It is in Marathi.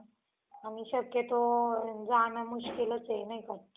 आणि शक्यतो जाणं मुश्कीलच आहे नाही का